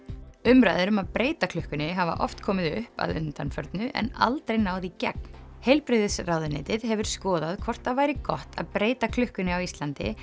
umræður um að breyta klukkunni hafa oft komið upp að undanförnu en aldrei náð í gegn heilbrigðisráðuneytið hefur skoðað hvort það væri gott að breyta klukkunni á Íslandi